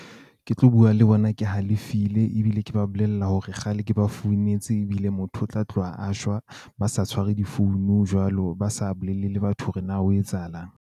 Ke tlo bua le bona, ke halefile ebile ke ba bolella hore kgale ke ba founetse. Ebile motho o tla tloha a shwa. Ba sa tshware difounu jwalo. Ba sa bolelele batho hore ho etsahalang.